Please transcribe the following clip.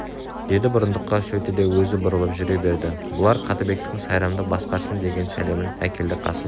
деді бұрындыққа сөйтті де өзі бұрылып жүре берді бұлар қаттыбектің сайрамды басқарсын деген сәлемін әкелді қасым